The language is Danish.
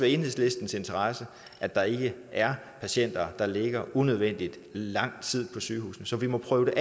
i enhedslistens interesse at der ikke er patienter der ligger unødvendig lang tid på sygehuset så vi må prøve